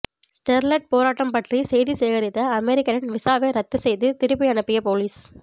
Sterlite போராட்டம் பற்றி செய்தி சேகரித்த அமெரிக்கரின் விசாவை ரத்து செய்து திருப்பி அனுப்பிய போலீஸ்